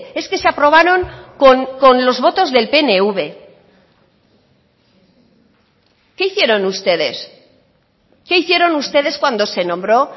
es que se aprobaron con los votos del pnv qué hicieron ustedes qué hicieron ustedes cuando se nombró